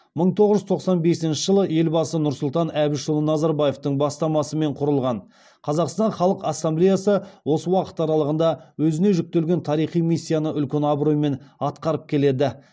мың тоғыз жүз тоқсан бесінші жылы елбасы нұрсұлтан әбішұлы назарбаевтың бастамасымен құрылған қазақстан халқ ассамблеясы осы уақыт аралығында өзіне жүктелген тарихи миссияны үлкен абыроймен атқарып келеді